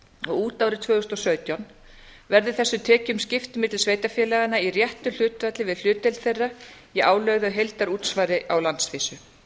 og út árið tvö þúsund og sautján verður þessum tekjum skipt milli sveitarfélaga í réttu hlutfalli við hlutdeild þeirra í álögðu heildarútsvari á landsvísu